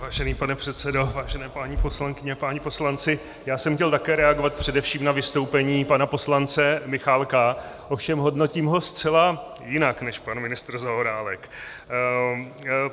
Vážený pane předsedo, vážené paní poslankyně, páni poslanci, já jsem chtěl také reagovat především na vystoupení pana poslance Michálka, ovšem hodnotím ho zcela jinak než pan ministr Zaorálek.